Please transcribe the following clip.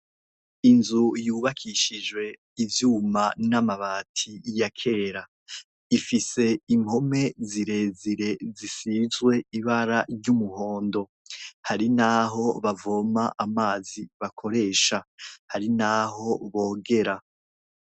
Inzu yubakishijwe ivyuma n'amabati ya kera ifise impome zirezire zisizwe ibara ry'umuhondo. Hari n'aho bavoma amazi bakoresha, hari n'aho bogera.